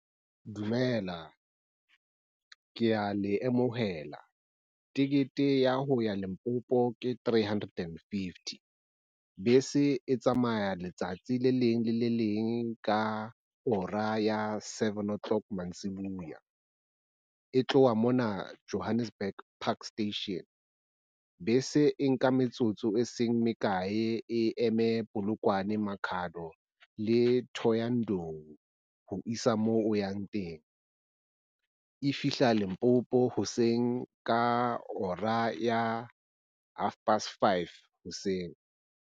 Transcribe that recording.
Dumela ke a le amohela. Tekete ya ho ya Limpopo ke three hundred and fifty. Bese e tsamaya letsatsi le leng le le leng ka hora ya seven o'clock mantsibuya e tloha mona Johannesburg Park Station. Bese e nka metsotso e seng mekae e eme Polokwane, Makhado le Thohoyandou, ho isa moo o yang teng. E fihla Limpopo hoseng ka hora ya half past five hoseng.